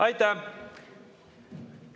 Aitäh!